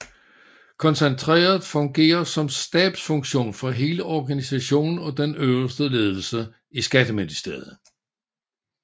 Koncerncentret fungerer som stabsfunktion for hele organisationen og den øverste ledelse i Skatteministeriet